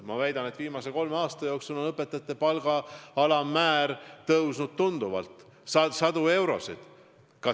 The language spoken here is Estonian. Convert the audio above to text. Ma väidan, et viimase kolme aasta jooksul on õpetajate palga alammäär tõusnud tunduvalt, sadu eurosid.